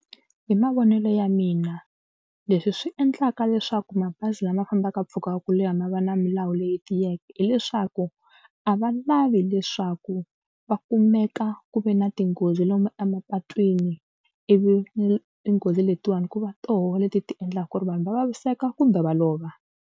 Hi mavonelo ya mina leswi swi endlaka leswaku mabazi lama fambaka mpfhuka wo leha ma va na milawu leyi tiyeke hileswaku a va lavi leswaku va kumeka ku ve na tinghozi lomu emapatwini ivi ni tinghozi letiwani ku va tona leti ti endlaka ku ri vanhu va vaviseka kumbe va lova.